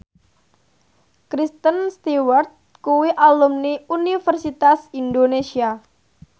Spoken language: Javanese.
Kristen Stewart kuwi alumni Universitas Indonesia